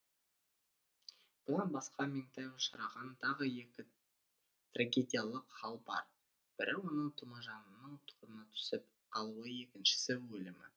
бұдан басқа меңтай ұшыраған тағы екі трагедиялық хал бар бірі оның тұмажанның торына түсіп қалуы екіншісі өлімі